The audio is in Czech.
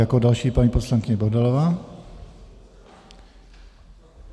Jako další paní poslankyně Bohdalová.